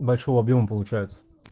большого объёма получается